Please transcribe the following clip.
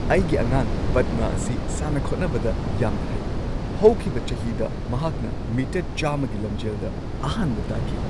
ꯑꯩꯒꯤ ꯑꯉꯥꯡ ꯄꯗꯃꯥ ꯑꯁꯤ ꯁꯥꯟꯅ-ꯈꯣꯠꯅꯕꯗ ꯌꯥꯝꯅ ꯍꯩ꯫ ꯍꯧꯈꯤꯕ ꯆꯍꯤꯗ ꯃꯍꯥꯛꯅ ꯃꯤꯇꯔ ꯱꯰꯰ꯒꯤ ꯂꯝꯖꯦꯜꯗ ꯑꯍꯥꯟꯕ ꯇꯥꯈꯤ꯫